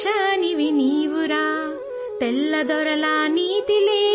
ہندوستانی جدوجہد آزادی کے تخم ہو، لگام ہو!